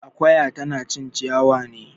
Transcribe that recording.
Akoya tana cin ciyawa ne